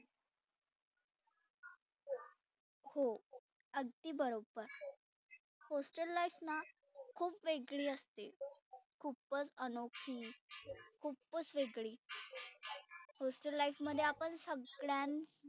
हो अगदी बरोबर hostel life ना खुप वेगळी असते. खूपच अनोखी खूपच वेगळी hostel life मध्ये आपण सगळ्या